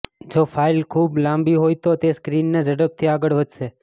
જો ફાઇલ ખૂબ લાંબી હોય તો તે સ્ક્રીનને ઝડપથી આગળ વધશે